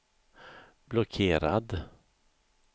blockerad